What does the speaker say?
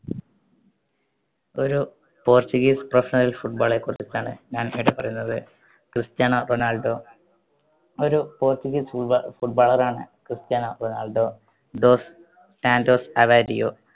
ഒരു portuguese professional football റെ കുറിച്ചിട്ടാണ് ഞാൻ ഇവിടെ പറയുന്നത്. Cristiano Ronaldo. ഒരു portuguese footballer ണ് Cristiano Ronaldo dos Santos Aveiro.